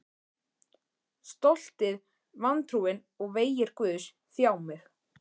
Stoltið, vantrúin og vegir Guðs þjá mig.